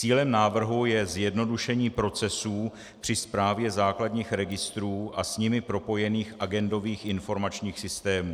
Cílem návrhu je zjednodušení procesů při správě základních registrů a s nimi propojených agendových informačních systémů.